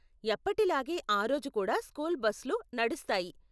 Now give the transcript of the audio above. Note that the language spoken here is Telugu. ఎప్పటిలాగే ఆ రోజు కూడా స్కూల్ బస్లు నడుస్తాయి.